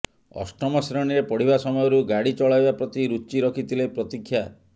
ଅଷ୍ଟମ ଶ୍ରେଣୀରେ ପଡ଼ିବା ସମୟରୁ ଗାଡ଼ି ଚଳାଇବା ପ୍ରତି ରୁଚି ରଖିଥିଲେ ପ୍ରତୀକ୍ଷା